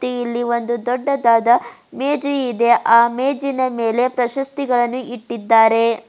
ತ್ತೆ ಇಲ್ಲಿ ಒಂದು ದೊಡ್ಡದಾದ ಮೇಜು ಇದೆ ಆ ಮೇಜಿನ ಮೇಲೆ ಪ್ರಶಸ್ತಿಗಳನ್ನು ಇಟ್ಟಿದ್ದಾರೆ.